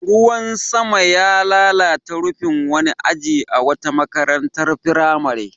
Ruwan sama ya lalata rufin wani aji a wata makarantar firamare.